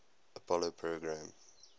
apollo program